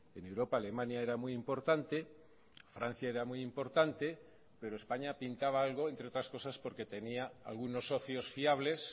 en europa alemania era muy importante francia era muy importante pero españa pintaba algo entre otras cosas porque tenía algunos socios fiables